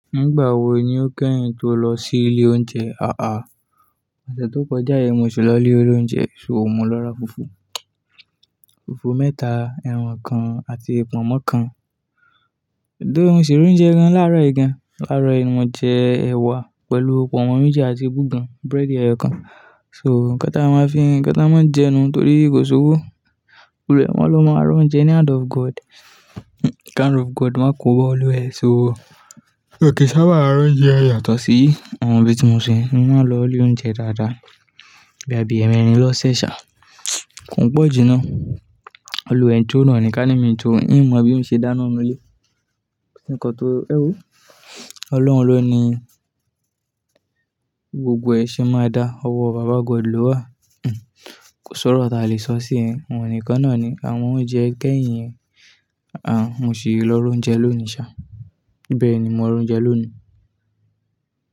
Nígbà wo ni o kẹ́yìn tó lọ sí ilé oúnjẹ? À á, ọ̀sẹ̀ tó kọjá yi mo sì lọ ilé o l'oúnjẹ, so mo lọ ra fùfú, fùfú mẹ́ta, ẹran kan àti pọ̀nmọ́ kan. Do moṣì ra oúnjẹ gan-an láàárọ̀ yìí gan-an? Làárọ̀ yìí mo jẹ ẹ̀wà pẹ̀lú pọ̀nmọ́ méjì àti bogan, búrẹ́dì ẹyọ kan. So ǹkan tá máa fi ń, ǹkan tá máa ń jẹ nú torí kò ṣowó. Òrò ẹ, wọ́n ló máa ń rán oúnjẹ ní hand of God. Kí hand of God máa kó ba oluwẹ so. Nki n sábà ra oúnjẹ yàtọ̀ sí àwọn ibi tí mo sọ yẹn. Mo máa ń lọ ilé oúnjẹ dáadáa. Bo ya bì ẹmẹ̀rin lọ sẹ́ ṣà. Kò n pọ̀ jù náà. Oluwẹ n cho nàa ní ká ní mi cho ni. N mọ bí n ṣe dáná n nu ilé. Ní ǹkan tó, ẹwo. Ọlọ́run ló ní gbogbo ẹ̀ ṣe máa dá. Ọwọ́ bàbá God ló wà. Kò sọ́rọ tí a lè sọ sí yin. Òun nìkan náà ni. Àwọn oúnjẹ kẹ́yìn yẹn, à mò ṣì lọ ra oúnjẹ lónìí ṣá. Bẹ́ẹ̀ni, mo ra oúnjẹ lónìí.